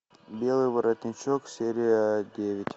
белый воротничок серия девять